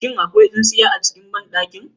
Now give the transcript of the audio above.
Shin akwai tsintsiya a banɗakin?